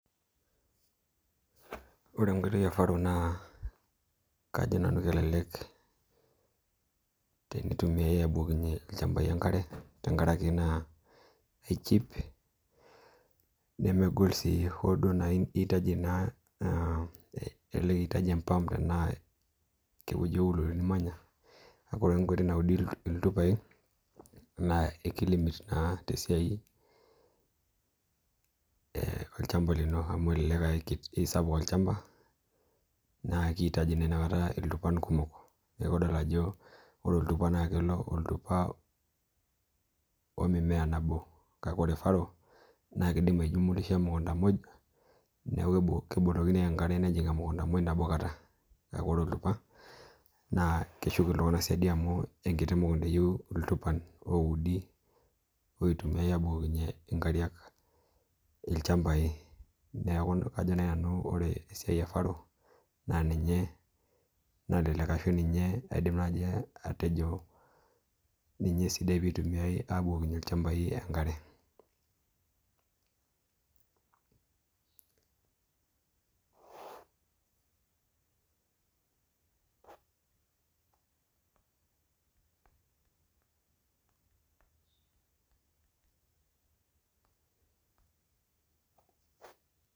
Ore enkoitoi e faro naa kajo nanu kelelek teneintumiyai abukokinye enkare tengaraki naa echiip nemegol sii oodo naa eitaji naa eloitaji empaamp anaa ke wueji nimanya aaku nkuti naudi iltupai naa ekilimit naa te siai elchamba lino amu elelek esapuk elchamba naa keitaji naa inakata iltupani kumok, naaku idol ajo ore oltupa naa kelo oltupa omumea nabo kakeore e faro naa keidim aijumulisha emukunta muuj neaku kebukokini enkare nejing emukunta nabo kata, naaku ore oltupa naa keshuk iltungana siadi amu mukunta oyeu iltupan oudi oitumiyai aabukokinye inkariak ilchambai, neaku kajo ore faro naa ninche naalelek ashu naaji atejo ninye sidai peitumiyai aabukokinye ilchambai inkare.